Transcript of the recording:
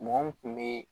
Mɔgɔ mun kun be